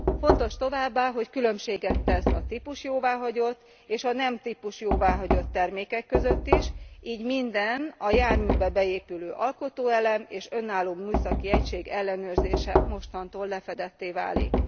Fontos továbbá, hogy különbséget tesz a típusjóváhagyott és a nem típusjóváhagyott termékek között is, így minden, a járműbe beépülő alkotóelem és önálló műszaki egység ellenőrzése mostantól lefedetté válik.